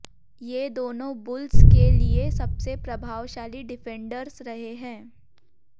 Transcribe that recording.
ये दोनों बुल्स के लिए सबसे प्रभावशाली डिफेंडर्स रहे हैं